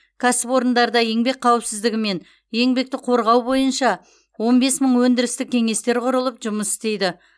кәсіпорындарда еңбек қауіпсіздігі мен еңбекті қорғау бойынша он бес мың өндірістік кеңестер құрылып жұмыс істейді